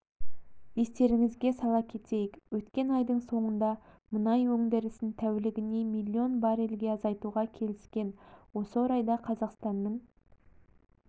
естеріңізге сала кетейік өткен айдың соңында мұнай өндірісін тәулігіне млн баррельге азайтуға келіскен осы орайда қазақстанның